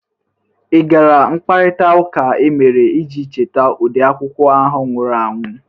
Ị gara mkparịtaụka emere iji cheta ode akwụkwọ ahụ nwụrụ anwụ?